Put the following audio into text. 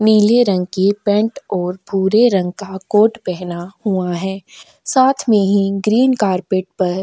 नीले रंग की पेंट और पूरे रंग का कोट पहना हुआ है साथ में ही ग्रीन कारपेट पर--